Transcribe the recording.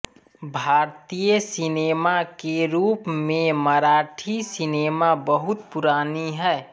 भारतीय सिनेमा के रूप में मराठी सिनेमा बहुत पुरानी है